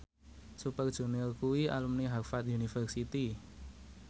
Super Junior kuwi alumni Harvard university